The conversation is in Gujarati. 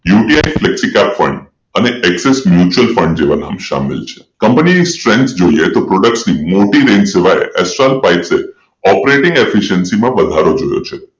UTIflexi cap fund Axis Mutual Fund જેવા નામ સામેલ છે કંપનીની strength જોઈએ તો પ્રોડક્ટની મોટી રેન્જ સિવાય એ સ્ટાર પાઇપ Operating efficiency માં વધારો જોયો છે